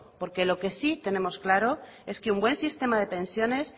porque lo que sí tenemos claro es que un buen sistema de pensiones